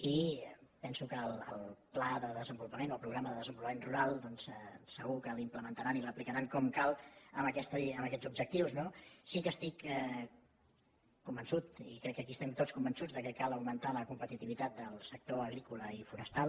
i penso que el pla de desenvolupament el programa de desenvolupament rural doncs segur que l’implementaran i l’aplicaran com cal amb aquests objectius no sí que estic convençut i crec que aquí estem tots convençuts que cal augmentar la competitivitat del sector agrícola i forestal